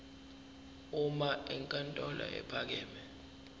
uma inkantolo ephakeme